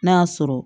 N'a y'a sɔrɔ